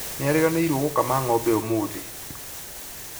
Nĩariganĩirwo gũkama ng'ombe ũmũthĩ